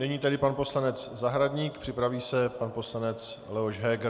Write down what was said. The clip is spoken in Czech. Nyní tedy pan poslanec Zahradník, připraví se pan poslanec Leoš Heger.